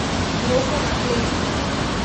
Roka na kleščah.